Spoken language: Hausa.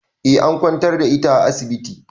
Eh an kwantar da ita a asibiti.